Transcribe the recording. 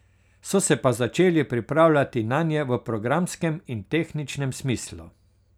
So se pa začeli pripravljati nanje v programskem in tehničnem smislu.